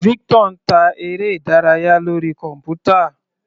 Victor ń ta eré ìdárayá lórí kọ̀npútà.